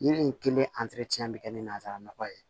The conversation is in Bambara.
Yiri in kelen bɛ kɛ ni nanzara nɔgɔ ye